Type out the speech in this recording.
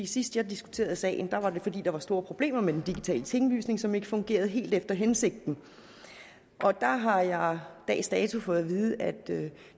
sidst jeg diskuterede sagen var det fordi der var store problemer med den digitale tinglysning som ikke fungerede helt efter hensigten der har jeg dags dato fået at vide at